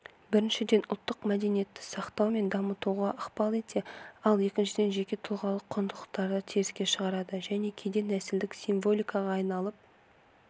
біріншіден ұлттық мәдениетті сақтау мен дамытуға ықпал етсе ал екіншіден жеке тұлғалық құндылықтарды теріске шығарады және кейде нәсілдік символикаға айналып